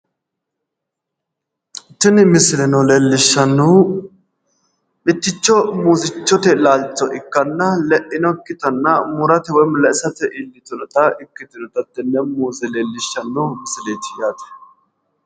Tini misileno leellishshannohu mitticho muuzichote laalcho ikkanna le"inokkitanna murate woy le"isate iillitinota ikkitinota hattenne muuze leellishshanno misileeti yaate.